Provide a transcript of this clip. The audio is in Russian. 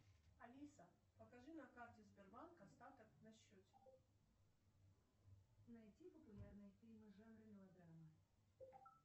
сбер поставь телевизионный канал триста шестьдесят пять дней